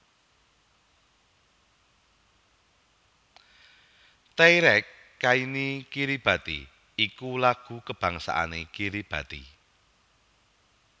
Teirake kaini Kiribati iku lagu kabangsané Kiribati